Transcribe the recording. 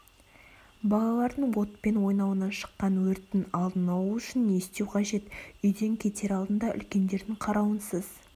балалардың отпен ойнауынан шыққан өрттің алдын алу үшін не істеу қажет үйден кетер алдында үлкендердің қарауынсыз